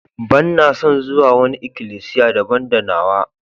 Banna son zuwa wani ikilisiya daban da nawa.